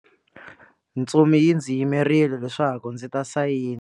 Ntsumi yi ndzi yimerile leswaku ndzi ta sayina.